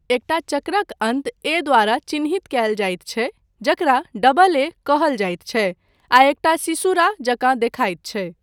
एकटा चक्रक अन्त ए द्वारा चिह्नित कायल जाइत छै, जकरा डबल ए कहल जाइत छै, आ एकटा सीसुरा जकाँ देखायत छै।